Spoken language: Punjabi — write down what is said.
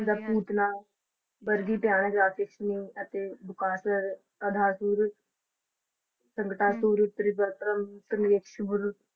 ਭੂਤਨਾ ਵਰਗੀ ਡਾਯਨ ਰਾਕਸ਼ਸਨੀ ਅਤੇ ਬਕਾਸੁਰ ਅਗਾਸੁਰ ਸੰਗਤਾਸੂਰ ਤ੍ਰਿਵਧਰੁਮ .